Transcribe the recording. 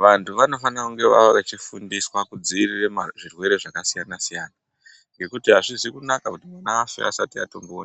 Vantu vanofanira kunge vave vechifundiswa kudziirire zvirwere zvakasiyana-siyana, ngekuti hazvisi kunaka kuti ana afe asati atomboone...